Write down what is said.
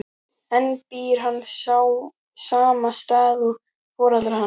En býr hann á sama stað og foreldrar hans?